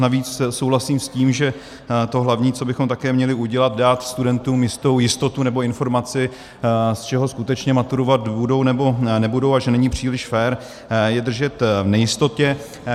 Navíc souhlasím s tím, že to hlavní, co bychom také měli udělat, dát studentům jistou jistotu nebo informaci, z čeho skutečně maturovat budou, nebo nebudou, a že není příliš fér, je držet v nejistotě.